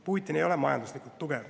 Putin ei ole majanduslikult tugev.